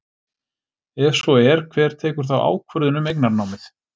Ef svo er, hver tekur þá ákvörðun um eignarnámið?